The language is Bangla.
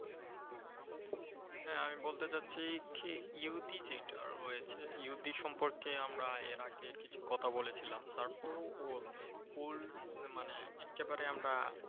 হ্যা, আমি বলতে চাচ্ছি কি ইহুদী যেইটা রয়েছে, ইহুদী সম্পর্কে আমরা এর আগে কিছু কথা বলেছিলাম তারপরেও old মানে এক্কেবারে আমরা